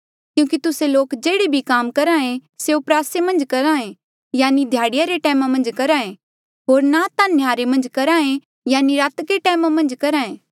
क्यूंकि तुस्से लोक जेह्ड़े भी काम करहा ऐें स्यों प्रयासे मन्झ करहा ऐें यानि ध्याड़ीया रे टैमा मन्झ करहा ऐें होर ना ता नह्यारे मन्झ करहा ऐें यानि रातके टैमा मन्झ करहा ऐें